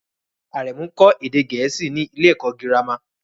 Aremu ń kọ́ èdè Gẹ̀ẹ́sì ní ilé-ẹ̀kọ́ girama